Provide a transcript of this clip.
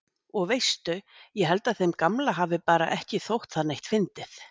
Og veistu. ég held að þeim gamla hafi bara ekki þótt það neitt fyndið.